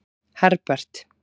Herbert